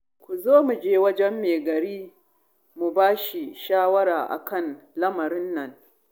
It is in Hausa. Ku zo mu je wajen mai gari mu ba shi shawara a kan lamarin nan